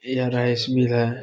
यह rice mill है।